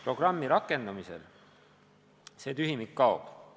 Programmi rakendamisel see tühimik kaob.